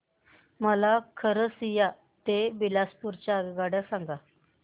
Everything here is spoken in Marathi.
मला खरसिया ते बिलासपुर च्या आगगाड्या सांगा